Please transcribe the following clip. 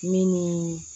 Min ni